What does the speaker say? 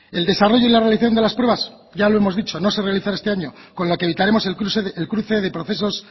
el desarrollo y la realización de las pruebas ya lo hemos dicho no se realizará este año con lo que evitaremos el cruce de procesos